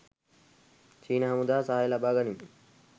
චීන හමුදා සහාය ලබා ගනිමු